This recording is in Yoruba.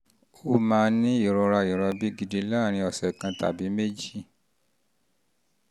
o máa ní ìrora ìrọbí gidi láàárín ọ̀sẹ̀ kan tàbí méjì um